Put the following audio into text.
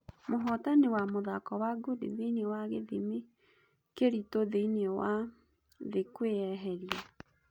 Mũhitani wa mũthako wa ngundi thĩinĩĩ wa gĩthimi kĩritũthĩiniĩ wa thĩ kwĩeheria.